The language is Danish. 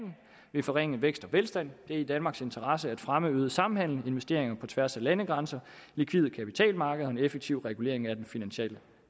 vil forringe vækst og velstand det er i danmarks interesse at fremme øget samhandel investeringer på tværs af landegrænser likvide kapitalmarkeder og en effektiv regulering af den finansielle